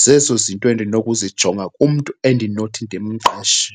Zezo zinto endinokuzijonga kumntu endinothi ndimqeshe.